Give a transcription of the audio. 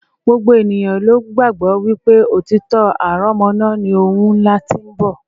gbogbo ènìyàn ló gbàgbọ́ wípé òtítọ́ aránmọ́nà ni ohun ńlá tí ń bọ̀